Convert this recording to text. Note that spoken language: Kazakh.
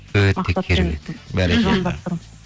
өте керемет